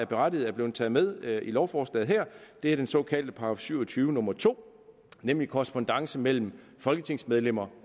berettiget er blevet taget med i lovforslaget her og det er den såkaldte § syv og tyve nummer to nemlig korrespondance mellem folketingsmedlemmer